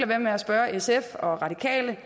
være med at spørge sf og radikale